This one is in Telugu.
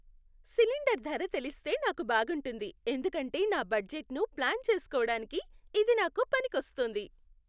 సిలిండర్ ధర తెలిస్తే నాకు బాగుంటుంది ఎందుకంటే నా బడ్జెట్ను ప్లాన్ చేస్కోడానికి ఇది నాకు పనికొస్తుంది.